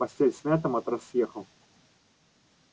постель смята матрас съехал